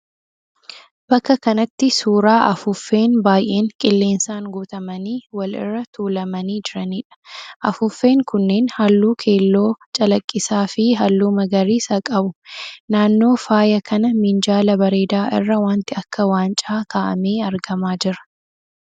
Bakka kanatti suuraa afuuffeen baay'een qilleensaan guutamanii wal irra tuulamanii jiraniidha. Afuuffeen kunneen halluu keelloo calaqqisaa fi halluu magariisa qabu. Naannoo faaya kana minjaala bareedaa irra wanti akka waancaa ka'amee argamaa jira.